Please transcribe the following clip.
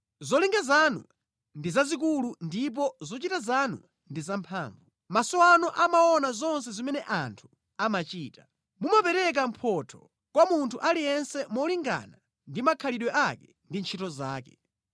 Zolinga zanu ndi zazikulu ndipo zochita zanu ndi zamphamvu. Maso anu amaona zonse zimene anthu amachita. Mumapereka mphotho kwa munthu aliyense molingana ndi makhalidwe ake ndi ntchito zake.